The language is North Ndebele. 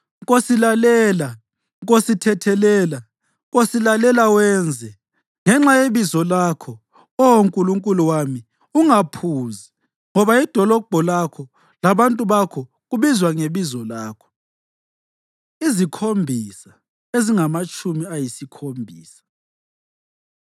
Nkosi, lalela! Nkosi, thethelela! Nkosi, lalela wenze! Ngenxa yebizo lakho, Oh Nkulunkulu wami, ungaphuzi, ngoba idolobho lakho labantu bakho kubizwa ngeBizo lakho.” “Izikhombisa” Ezingamatshumi Ayisikhombisa